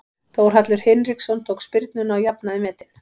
Þórhallur Hinriksson tók spyrnuna og jafnaði metin.